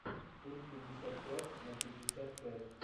фильм пятьдесят пять на пятьдесят пять